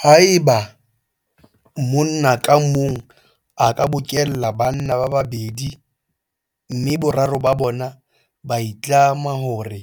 Haeba monna ka mong a ka bokella banna ba babedi mme boraro ba bona ba itlama hore